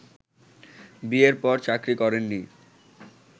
বিয়ের পর চাকরি করেননি